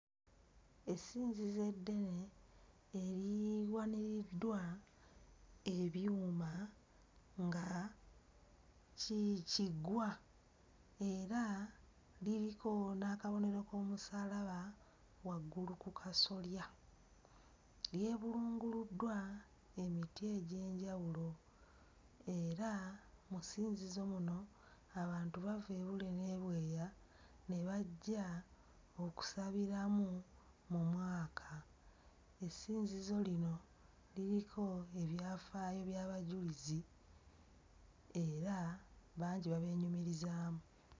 Essinzizo eddene eriwaniriddwa ebyuma nga ki kiggwa era liriko n'akabonero k'omusalaba waggulu ku kasolya, lyebulunguluddwa emiti egy'enjawulo era mu ssinzizo muno abantu bava ebule n'ebweya ne bajja okusabiramu mu mwaka. Essinzizo lino liriko ebyafaayo by'abajulizi era bangi babyenyumirizaamu.